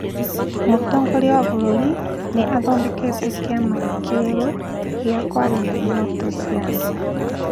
Mũtongoria wa bũrũri nĩ athondekete kĩama kĩerũ gĩa kwarĩrĩria ihoto cia andũ